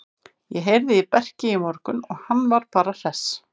Ég heyrði í Berki í morgun og hann var bara hress.